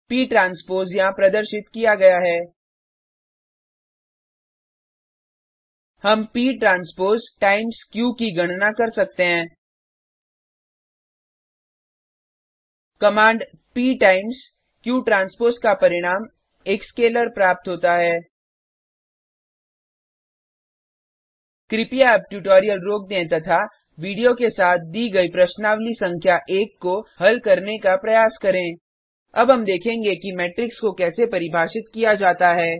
प ट्रांसपोज यहाँ प्रदर्शित किया गया है हम p ट्रांसपोज टाइम्स क्यू की गणना कर सकते हैं command p times q transpose का परिणाम एक स्केलर प्राप्त होता है कृपया अब ट्यूटोरियल रोक दें तथा वीडियो के साथ दी गई प्रश्नावली संख्या1 को हल करने का प्रयास करें अब हम देखेंगे कि मेट्रिक्स को कैसे परिभाषित किया जाता है